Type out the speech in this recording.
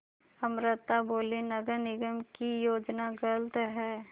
अमृता बोलीं नगर निगम की योजना गलत है